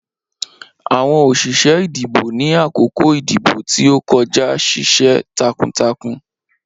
Awọn oṣiṣẹ idibo ni akoko idibo ti o kọja ṣiṣẹ takuntakun.